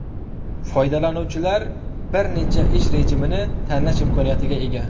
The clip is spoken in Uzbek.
Foydalanuvchilar bir necha ish rejimini tanlash imkoniyatiga ega.